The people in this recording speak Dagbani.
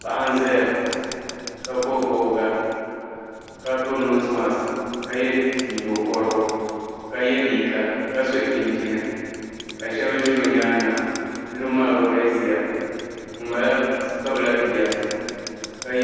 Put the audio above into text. Paɣa n zaya ka bɔbi bɔbiga ka piri noosi makisi ka ye nyingo kɔrigu ka ye liiga ka so chinchini ka shebi ʒi o nyaaga niriba maa gba galisiya ŋun bala kpabila bia.